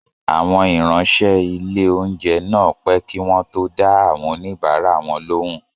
Àwọn ìráńṣẹ́ ilé-oúnjẹ náà pẹ́ kí wọ́n tó dá àwọn oníbàárà wọn lóhùn